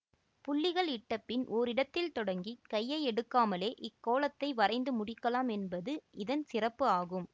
புள்ளிகள் இட்டபின் ஓரிடத்தில் தொடங்கி கையை எடுக்காமலே இக் கோலத்தை வரைந்து முடிக்கலாம் என்பது இதன் சிறப்பு ஆகும்